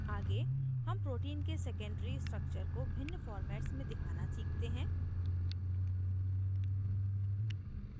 आगे हम protein के secondary structure को भिन्न formats में दिखाना सीखते हैं